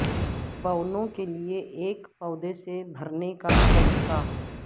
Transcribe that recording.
بونوں کے لئے ایک پودے سے بھرنے کا طریقہ